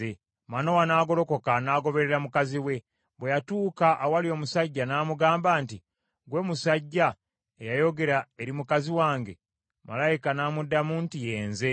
Manowa n’agolokoka n’agoberera mukazi we. Bwe yatuuka awali omusajja n’amugamba nti, “Ggwe musajja eyayogera eri mukazi wange?” Malayika n’amuddamu nti, “Ye nze.”